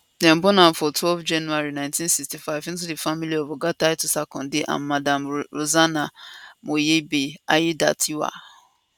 dem born am on twelve january 1965 into di family of oga titus akande and madam rosanah moyebi aiyedatiwa